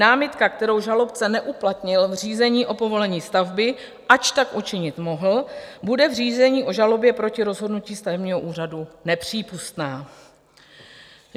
Námitka, kterou žalobce neuplatnil v řízení o povolení stavby, ač tak učinit mohl, bude v řízení o žalobě proti rozhodnutí stavebního úřadu nepřípustná.